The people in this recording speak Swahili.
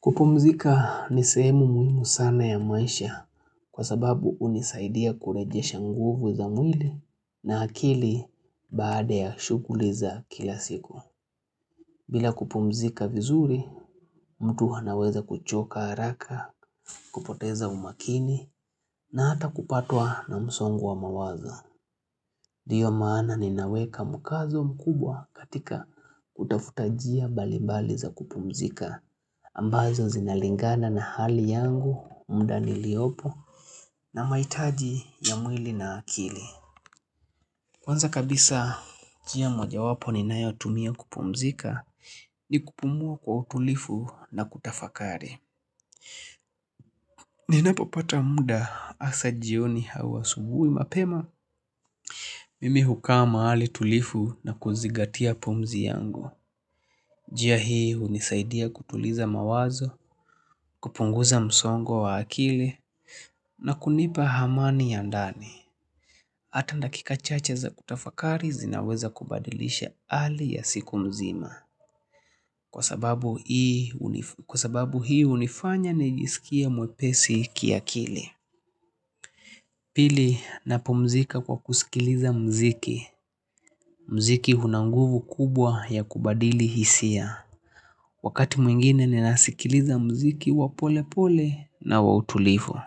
Kupumzika ni sehemu muhimu sana ya maisha kwa sababu hunisaidia kurejesha nguvu za mwili na akili baada ya shughuli za kila siku. Bila kupumzika vizuri, mtu anaweza kuchoka haraka, kupoteza umakini na hata kupatwa na msongo wa mawazo. Ndiyo maana ninaweka mkazo mkubwa katika kutafuta njia mbalibali za kupumzika. Ambazo zinalingana na hali yangu, muda niliopo na mahitaji ya mwili na akili. Kwanza kabisa, njia mojawapo ninayotumia kupumzika ni kupumua kwa utulivu na kutafakari. Ninapopata muda hasa jioni au asubuhi mapema. Mimi hukaa mahali tulivu na kuzingatia pumzi yangu. Njia hii hunisaidia kutuliza mawazo, kupunguza msongo wa wa akili na kunipa amani ya ndani. Hata dakika chacha za kutafakari zinaweza kubadilisha hali ya siku mzima. Kwa sababu hii hunifanya nijisikie mwepesi kiakili. Pili, napumzika kwa kusikiliza muziki. Muziki una nguvu kubwa ya kubadili hisia. Wakati mwingine ninasikiliza muziki wa polepole na wa utulivu.